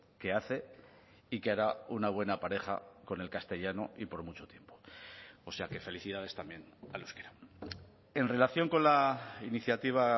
que hace y que hará una buena pareja con el castellano y por mucho tiempo o sea que felicidades también al euskera en relación con la iniciativa